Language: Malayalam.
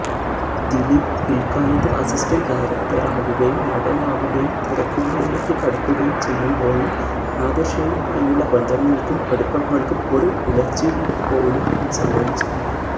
ദിലിപ് പില്ക്കാലത്ത് അസിസ്റ്റന്റ് ഡയറക്ടറാകുകയും നടനാകുകയും തിരക്കുകളിലേക്ക് കടക്കുകയും ചെയ്യുമ്പോഴും നാദിര്ഷയുമായുള്ള ബന്ധങ്ങള്ക്കും അടുപ്പങ്ങള്ക്കും ഒരു ഉലച്ചില്പോലും സംഭവിച്ചിട്ടില്ല